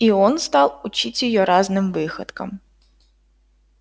и он стал учить её разным выходкам